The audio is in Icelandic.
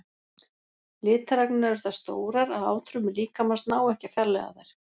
Litaragnirnar eru það stórar að átfrumur líkamans ná ekki að fjarlægja þær.